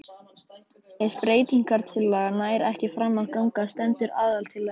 Ef breytingatillaga nær ekki fram að ganga stendur aðaltillaga.